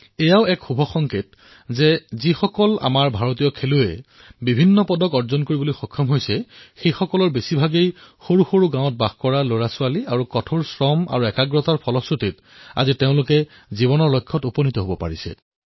এয়াও এক উত্তম সংকেত যে যিসকল খেলুৱৈয়ে পদক জয় কৰিছে তাৰে অধিকাংশই গাঁৱৰ বাসিন্দা আৰু এওঁলোকে কঠোৰ পৰিশ্ৰমৰ দ্বাৰা এই সাফল্য অৰ্জন কৰিছে